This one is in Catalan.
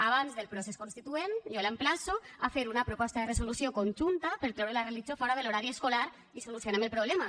abans del procés constituent jo l’emplaço a fer una proposta de resolució conjunta per traure la religió fora de l’horari escolar i solucionem el problema